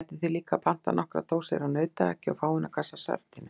Gætuð þér líka pantað nokkrar dósir af nautahakki og fáeina kassa af sardínum.